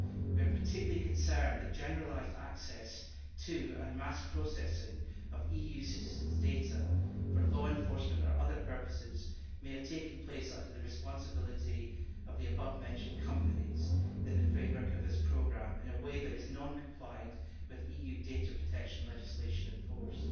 We are particularly concerned that generalised access to, and mass processing of, EU citizens' data for law enforcement or other purposes may have taken place under the responsibility of the above mentioned companies in the framework of this programme in a way that is non compliant with the EU data protection legislation in force.